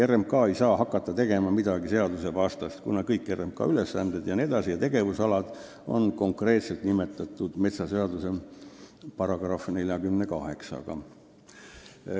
RMK ei saa hakata midagi seadusvastast tegema, kuna kõik tema ülesanded, tegevusalad jne on konkreetselt nimetatud metsaseaduse §-s 48.